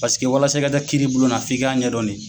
Paseke walasa i ka ta kiri bulona f'i k'a ɲɛdɔn.